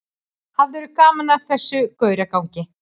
Hafðirðu gaman af þessum gauragangi?